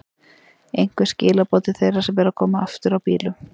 Einhver skilaboð til þeirra sem eru að koma aftur á bílum?